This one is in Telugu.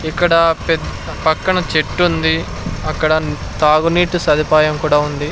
ఇక్కడా పెద్ పక్కన చెట్టుంది అక్కడ న్ తాగునీటి సదుపాయం కూడా ఉంది.